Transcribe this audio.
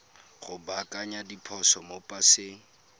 go baakanya diphoso mo paseng